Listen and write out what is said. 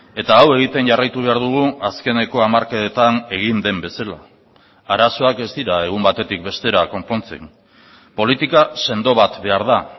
eta hau egiten jarraitu behar dugu azkeneko hamarkadetan egin den bezala arazoak ez dira egun batetik bestera konpontzen politika sendo bat behar da